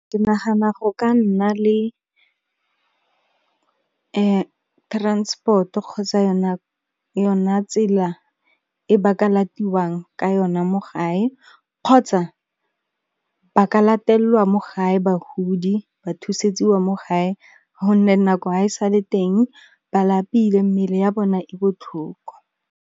Ke nagana go ka nna le, transport-o kgotsa yona tsela e ba ka latiwang ka yona mo gae kgotsa, ba ka latellwa mo gae bagodi ba thusetsiwa mo gae gonne nako ha e sa le teng ba lapile mmele ya bona e botlhoko.